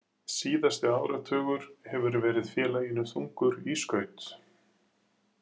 Síðasti áratugur hefur verið félaginu þungur í skaut.